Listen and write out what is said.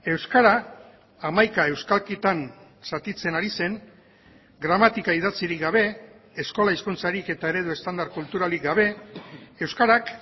euskara hamaika euskalkitan zatitzen ari zen gramatika idatzirik gabe eskola hizkuntzarik eta eredu estandar kulturalik gabe euskarak